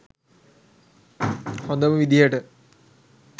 හොදම විදිහට